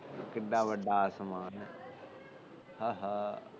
ਕਿਡਾ ਵੱਡਾ ਆਸਮਾਨ ਏ ਆਹਾ